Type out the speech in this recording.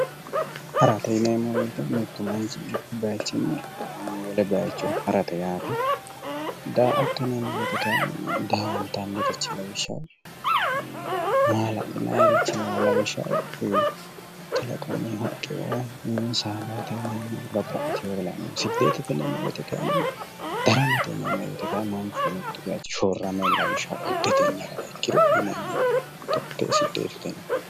Harate yinneemmo woyte mitu manchi mitu bayichinni wole bayicho ha'rate yaate, daa"atto yinneemmo woyte kayinni daa"attanirichoti ,mala'linanniricho lawishshaho kalaqamuni haqqeo babbaxeyoha ,daramate yinneemmoti kayinni mitu manchi shorame hariha ikkiro daramate.